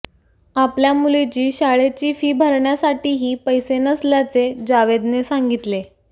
आपल्या मुलीची शाळेची फी भरण्यासाठीही पैसे नसल्याचे जावेदने सांगितले